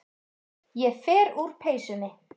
Ég fer úr peysunni.